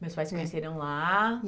Meus pais se conheceram lá.